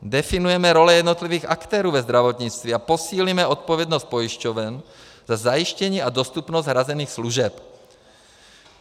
Definujeme role jednotlivých aktérů ve zdravotnictví a posílíme odpovědnost pojišťoven za zajištění a dostupnost hrazených služeb.